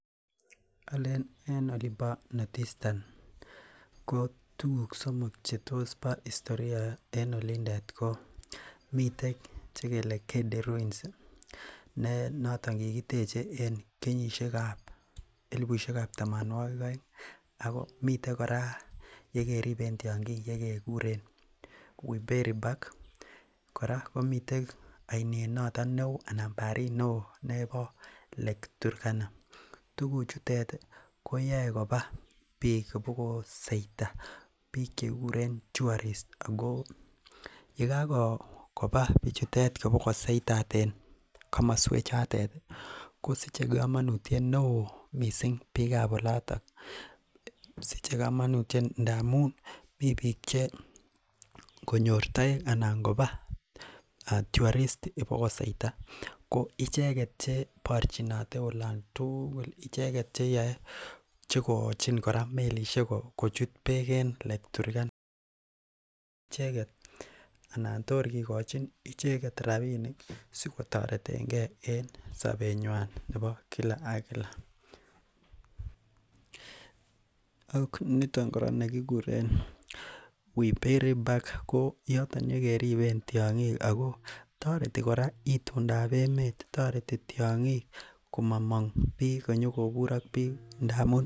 Alen en olimbo north Esthern , tukug somok chebo historia ko netai ko Gedi ruins, ko kikiteche en kenyitab tamanuagil aeng. Ako miten kora yekeriben tiang'ik yekekuren weperi Park ih , kora komiten ainet noton neoo anan barit noton neoo lake turkana. Tukuk chutet koyae kobaa bik ibokoseita bik chekikuren t tourist yekakobaa bichutet ibokoseita en komosuek chotet ih , kosiche kamanut neoo bikab olatet . Siche komanut ndamuun mi bik che ngonyor take anan ingobaa tourist koicheket cheibarchinote olon tugul, icheket cheyao igochin melishek kora en lake turkana tor kigochin icheket rabinik sikotoretenge en sobet nyuan nebo Kila ak Kila. Ak niton kora nekikuren Wiberi park ih yoton yekeriben tiang'ik Ako toreti kora itondab emeet, toreti tiang'ik komamong kunyo kobur ak bik.